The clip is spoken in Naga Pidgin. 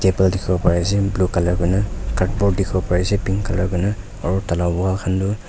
table dikhiwo pari ase blue color kuri na cardboard dikhiwo pari ase pink color kuri na aro tai laga wall khan toh--